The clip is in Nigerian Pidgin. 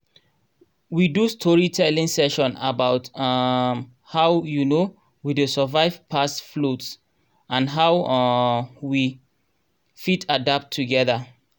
we do storytelling session about um how um we dey survive past floods and how um we fit adapt togeda